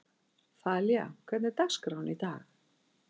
Þalía, hvernig er dagskráin í dag?